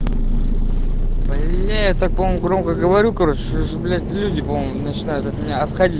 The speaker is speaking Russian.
мне это кому говорю короче блять люди по моему начинают отходить